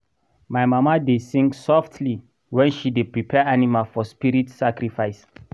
my mama dey sing softly when she dey prepare animal for spirit sacrifice.